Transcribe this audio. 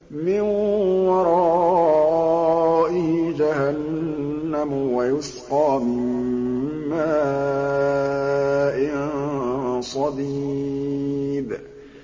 مِّن وَرَائِهِ جَهَنَّمُ وَيُسْقَىٰ مِن مَّاءٍ صَدِيدٍ